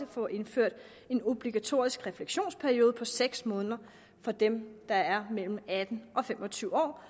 få indført en obligatorisk refleksionsperiode på seks måneder for dem der er mellem atten og fem og tyve år